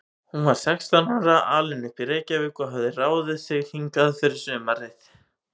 Hún var sextán ára, alin upp í Reykjavík og hafði ráðið sig hingað fyrir sumarið.